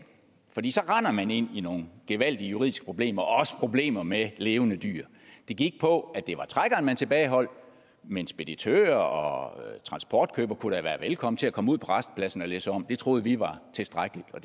fordi så render man ind i nogle gevaldige juridiske problemer og også problemer med levende dyr det gik på at det var trækkeren man tilbageholdt men speditører og transportkøbere kunne da være velkommen til at komme ud på rastepladsen og læsse om det troede vi var tilstrækkeligt og